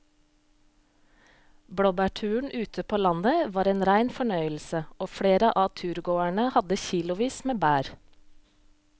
Blåbærturen ute på landet var en rein fornøyelse og flere av turgåerene hadde kilosvis med bær.